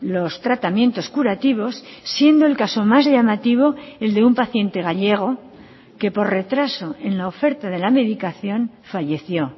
los tratamientos curativos siendo el caso más llamativo el de un paciente gallego que por retraso en la oferta de la medicación falleció